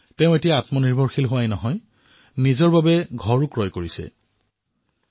আজি তেওঁ আত্মনিৰ্ভৰশীল হোৱাই নহয় নিজৰ এটা ঘৰো ক্ৰয় কৰিবলৈ সমৰ্থ হল